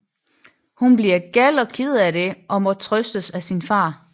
Hun bliver gal og ked af det og må trøstes af sin far